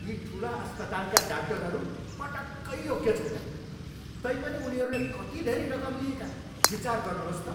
यी ठुला अस्पतालका डाक्टरहरू पटक्कै योग्य छैनन्। तैपनि उनीहरूले कति धेरै रकम लिएका, विचार गर्नुहोस् त।